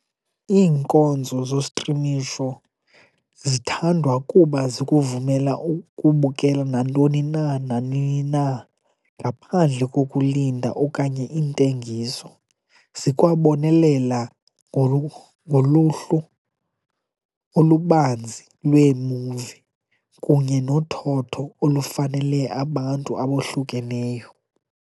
Iinkonzo zostrimisho zithandwa kuba zikuvumela ukubukela nantoni na nanini na ngaphandle kokulinda okanye intengiso, zikwabonelela ngoluhlu olubanzi lweemuvi kunye nothotho olufanele abantu abohlukeneyo.